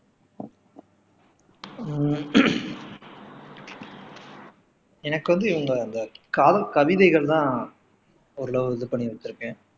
ஹம் எனக்கு வந்து அந்த காதல் கவிதைகள் தான் ஒரு அளவு இது பண்ணி வச்சிருக்கேன்